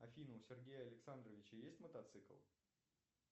афина у сергея александровича есть мотоцикл